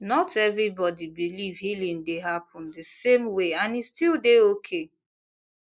not everybody believe healing dey happen the same way and and e still dey okay